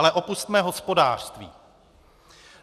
Ale opusťme hospodářství.